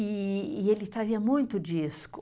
E e ele trazia muito disco.